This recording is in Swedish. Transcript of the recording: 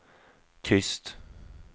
tyst